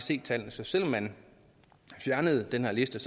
se tallene så selv om man fjernede den her liste